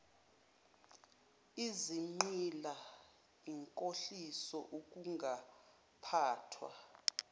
izigqila inkohliso ukungaphathwa